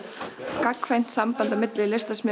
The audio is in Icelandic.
gagnkvæmt samband á milli